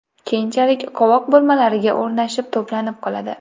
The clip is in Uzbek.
Keyinchalik qovoq burmalariga o‘rnashib to‘planib qoladi.